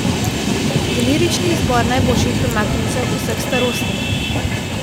Delirični izbor najboljših premaknjencev vseh starosti!